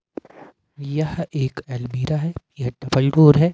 यह एक अलमीरा है यह है।